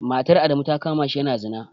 Matar Adamu ta kama shi yana zina.